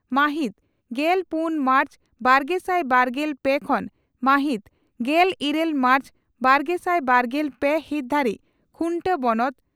ᱢᱟᱦᱤᱛ ᱜᱮᱞ ᱛᱩᱨᱩᱭ ᱢᱟᱨᱪ ᱵᱟᱨᱜᱮᱥᱟᱭ ᱵᱟᱨᱜᱮᱞ ᱯᱮ ᱠᱷᱚᱱ ᱢᱟᱦᱤᱛ ᱜᱮᱞ ᱤᱨᱟᱹᱞ ᱢᱟᱨᱪ ᱵᱟᱨᱜᱮᱥᱟᱭ ᱵᱟᱨᱜᱮᱞ ᱯᱮ ᱦᱤᱛ ᱫᱷᱟᱹᱨᱤᱡ ᱠᱷᱩᱱᱴᱟᱹ ᱵᱚᱱᱚᱛ